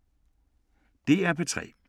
DR P3